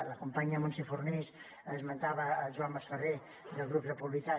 la companya montse fornells esmentava el joan masferrer del grup republicà